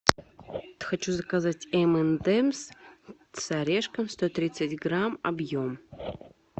хочу заказать эм энд эмс с орешком сто тридцать грамм объем